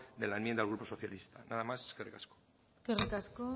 de la enmienda del grupo socialista nada más eskerrik asko eskerrik asko